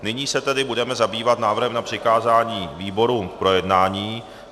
Nyní se tedy budeme zabývat návrhem na přikázání výborům k projednání.